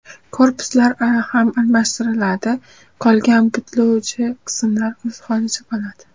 Korpuslar ham almashtiriladi, qolgan butlovchi qismlar o‘z holicha qoladi.